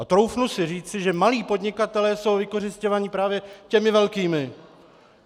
A troufnu si říci, že malí podnikatelé jsou vykořisťováni právě těmi velkými.